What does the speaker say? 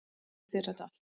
Ég sýndi þér þetta allt.